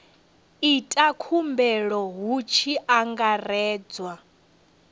ita khumbelo hu tshi angaredzwa